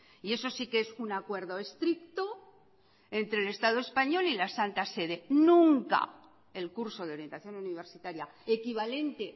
y eso si que es un acuerdo estricto entre el estado español y la santa sede nunca el curso de orientación universitaria equivalente